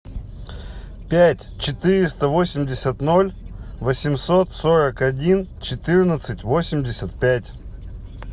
пять четыреста восемьдесят ноль восемьсот сорок один четырнадцать восемьдесят пять